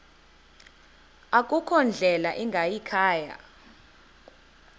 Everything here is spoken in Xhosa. akukho ndlela ingayikhaya